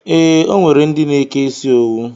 Ee, o nwere ndi na-eke isi owu